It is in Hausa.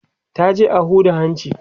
ta je a Huda hanci